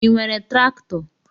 I nwere traktọ?